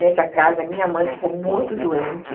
Nessa casa, minha mãe ficou muito doente.